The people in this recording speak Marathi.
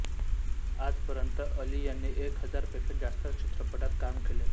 आजपर्यंत अली यांनी एक हजार पेक्षा जास्त चित्रपटात काम केले आहे